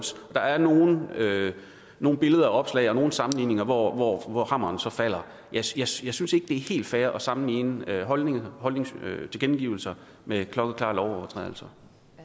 der er nogle nogle billeder og opslag og nogle sammenhænge hvor hvor hammeren så falder jeg synes jeg synes ikke det er helt fair at sammenligne holdningstilkendegivelser med klokkeklare lovovertrædelser